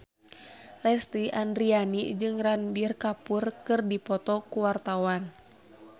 Lesti Andryani jeung Ranbir Kapoor keur dipoto ku wartawan